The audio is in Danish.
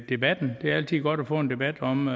debatten det er altid godt at få en debat om